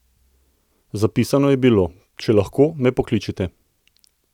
Zapisano je bilo: ''Če lahko, me pokličite''.